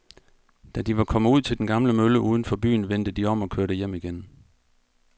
Da de var kommet ud til den gamle mølle uden for byen, vendte de om og kørte hjem igen.